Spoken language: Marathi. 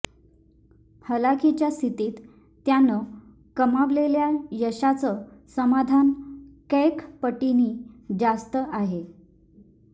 हलाखीच्या स्थितीत त्यानं कमावलेल्या यशाचं समाधान कैक पटींनी जास्त आहे